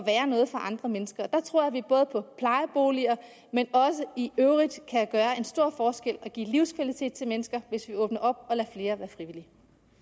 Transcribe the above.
andre mennesker jeg tror at vi både i plejeboliger og i øvrigt kan gøre en stor forskel og give livskvalitet til mennesker hvis vi åbner op og lader flere være frivillige